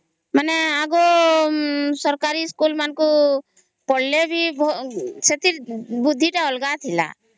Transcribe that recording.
ମାନେ ଆଗ ସରକାରୀ school ମାନଙ୍କୁ ପଢିଲେ ବି ସେଥିରରେ ବୁଦ୍ଧି ଟା ଅଲଗା ଥିଲା